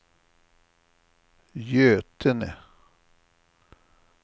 Götene